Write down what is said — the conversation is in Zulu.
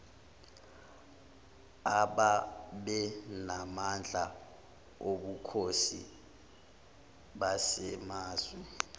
ababenamandla obukhosi basemazwe